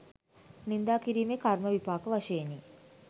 නින්දා කිරීමේ කර්ම විපාක වශයෙනි.